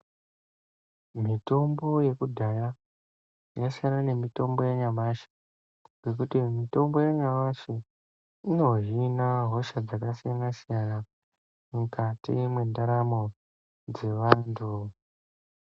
Mitombo yakudhaya yasiyana nemitombo yanyamashi ,nekuti mitombo yanyamashi inohina hosha dzakasiyana siyana mukati mentaramo dzeantu.